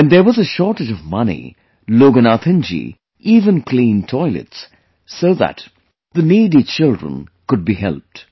When there was shortage of money, Loganathanji even cleaned toilets so that the needy children could be helped